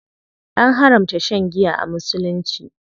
An haramta shan giya a musulunci.